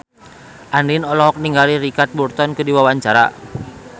Andien olohok ningali Richard Burton keur diwawancara